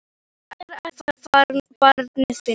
Bragð er að þá barnið finnur!